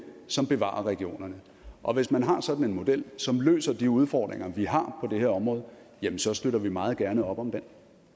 som bevarer regionerne og hvis man har sådan en model som løser de udfordringer vi har på det her område jamen så støtter vi meget gerne op om den